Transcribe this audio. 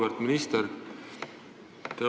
Auväärt minister!